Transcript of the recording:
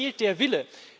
Aber es fehlt der Wille.